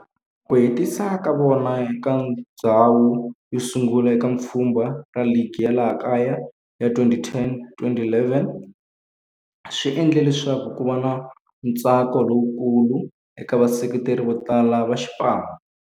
Ku hetisa ka vona eka ndzhawu yosungula eka pfhumba ra ligi ya laha kaya ya 2010-11 swi endle leswaku kuva na ntsako lowukulu eka vaseketeri votala va xipano.